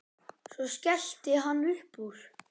Svo skellti hann upp úr.